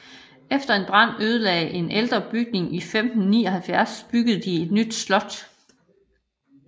Efter en brand ødelagde en ældre bygning i 1579 byggede de et nyt slot